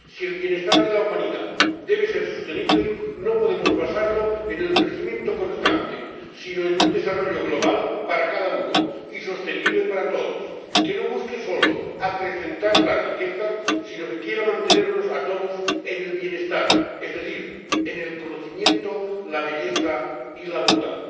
Si el bienestar de la humanidad debe ser sostenible no podemos basarlo en el crecimiento constante sino en un desarrollo, global para cada uno y sostenible para todos, que no busque solo acrecentar la riqueza sino que quiera mantenernos a todos en el bienestar, es decir, en el conocimiento, la belleza y la bondad.